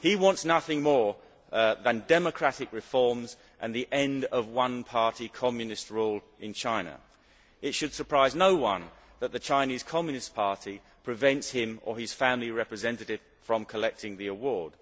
He wants nothing more than democratic reforms and the end of one party Communist rule in China. It should surprise no one that the Chinese Communist Party prevents him or his family representative from collecting the award.